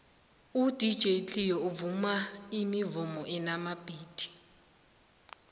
udj cleo uvuma imivumo enamabhithi